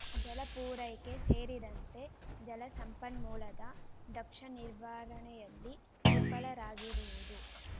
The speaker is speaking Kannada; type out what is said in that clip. ಜಲ ಪೂರೈಕೆ ಸೇರಿದಂತೆ ಜಲ ಸಂಪನ್ಮೂಲದ ದಕ್ಷ ನಿರ್ವಹಣೆಯಲ್ಲಿ ವಿಫಲರಾಗಿರುವುದು